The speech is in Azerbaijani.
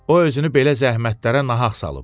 O özünü belə zəhmətlərə nahaq salıb.